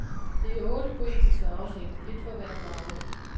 Det er otte poetiske afsnit, et for hver farve.